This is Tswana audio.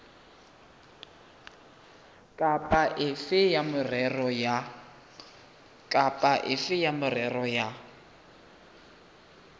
kapa efe ya merero ya